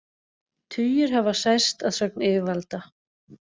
Tugir hafa særst að sögn yfirvalda